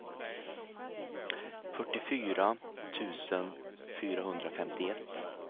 fyrtiofyra tusen fyrahundrafemtioett